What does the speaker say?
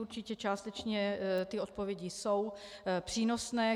Určitě částečně ty odpovědi jsou přínosné.